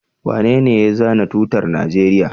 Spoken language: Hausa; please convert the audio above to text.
Wanene ya zana tutar Najeriya?